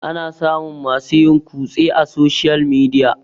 ana samun masu yin kutse a soshiyal midia